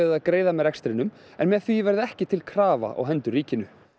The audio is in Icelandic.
að greiða með rekstrinum en með því verði ekki til krafa á hendur ríkinu